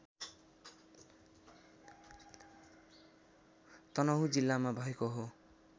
तनहुँ जिल्लामा भएको हो